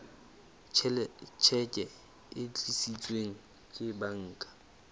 tjheke e tiiseditsweng ke banka